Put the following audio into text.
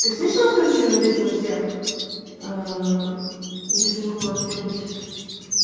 ты слышала короче вот эти все если выпало если тебе быть